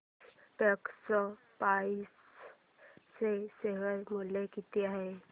आज टेक्स्मोपाइप्स चे शेअर मूल्य किती आहे